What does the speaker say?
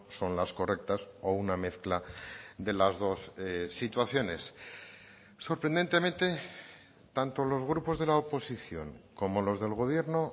son las correctas o una mezcla de las dos situaciones sorprendentemente tanto los grupos de la oposición como los del gobierno